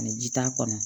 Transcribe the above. Ani ji t'a kɔnɔ